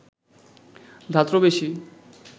ধাত্র বেশী